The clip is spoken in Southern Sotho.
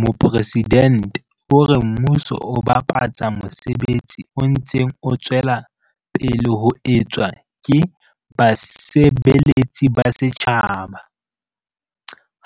Mopresidente o re mmuso o babatsa mosebetsi o ntseng o tswela pele ho etswa ke basebeletsi ba setjhaba,